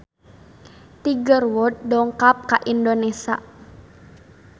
Tiger Wood dongkap ka Indonesia